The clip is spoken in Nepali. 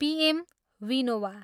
P M Vinoba.